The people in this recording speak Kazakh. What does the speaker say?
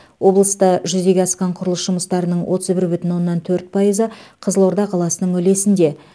облыста жүзеге асқан құрылыс жұмыстарының отыз бүр бүтін оннан төрт пайызы қызылорда қаласының үлесінде